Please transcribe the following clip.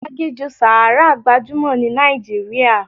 Aginjù Sahara gbajúmọ̀ ní Nàìjíríà.